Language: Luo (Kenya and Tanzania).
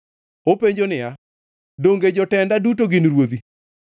Openjo niya, Donge jotenda duto gin ruodhi?